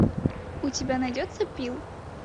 у тебя найдется пил